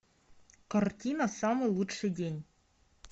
картина самый лучший день